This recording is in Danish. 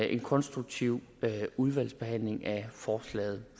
en konstruktiv udvalgsbehandling af forslaget